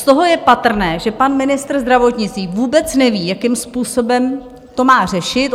Z toho je patrné, že pan ministr zdravotnictví vůbec neví, jakým způsobem to má řešit.